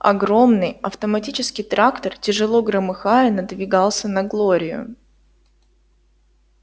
огромный автоматический трактор тяжело громыхая надвигался на глорию